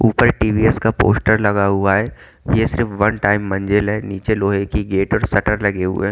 ऊपर टी_वी_एस का पोस्टर लगा हुआ है ये सिर्फ वन टाइम मंजिल है नीचे लोहे की गेट और शटर लगे हुए--